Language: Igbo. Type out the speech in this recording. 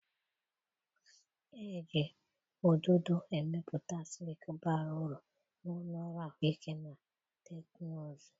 Eji ududo emepụta silk bara uru na ụlọ ọrụ ahụike na teknụzụ.